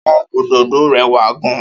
Áwòn ódódó rèwá gán